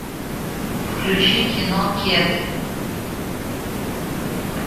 включи кино кеды